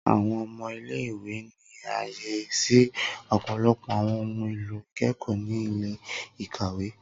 Awọn ọmọ ile-iwe ni aye si ọpọlọpọ awọn ohun elo ikẹkọ ni ile-ikawe.